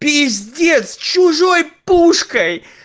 пиздец чужой пушкой